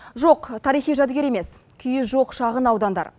жоқ тарихи жәдігер емес күйі жоқ шағын аудандар